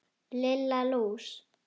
Lilla lús!